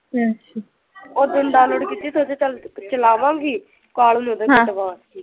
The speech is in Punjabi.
ਉਹ ਦਿਨ ਡਾਊਨਲੋਡ ਕੀਤੀ ਸੋਚਿਆ ਚੱਲ ਚਲਾਵਾਂਗੀ ਕਾਲੋ ਨੇ ਜਦੇ